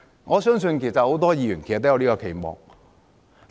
我相信很多議員都有這個期望。